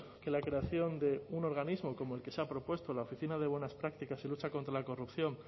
que la creación de un organismo como el que se ha propuesto en la oficina de buenas prácticas y lucha contra la corrupción